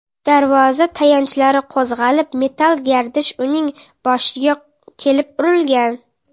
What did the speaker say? Darvoza tayanchlari qo‘zg‘alib, metall gardish uning boshiga kelib urilgan.